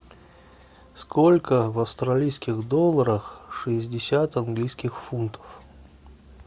сколько в австралийских долларах шестьдесят английских фунтов